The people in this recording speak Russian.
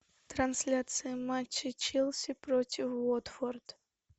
трансляция матча челси против уотфорд